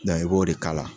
i b'o de k'a la